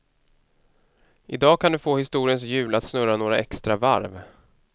I dag kan du få historiens hjul att snurra några extra varv.